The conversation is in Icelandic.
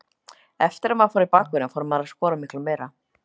Eftir að maður fór í bakvörðinn fór maður að skora miklu meira.